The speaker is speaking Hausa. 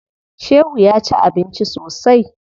Shehu ya ci abinci sosai.